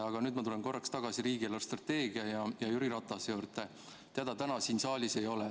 Aga nüüd ma tulen korraks tagasi riigi eelarvestrateegia ja Jüri Ratase juurde, keda täna siin saalis ei ole.